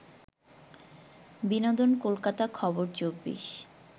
বিনোদন কলকাতা খবর ২৪